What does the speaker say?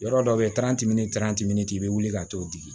Yɔrɔ dɔ bɛ ye i bɛ wuli ka t'o digi